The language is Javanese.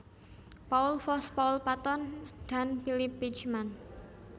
Paul Foss Paul Patton dan Philip Beitchman